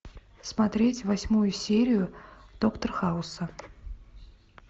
смотреть восьмую серию доктор хауса